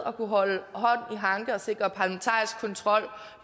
at kunne holde hånd i hanke og sikre parlamentarisk kontrol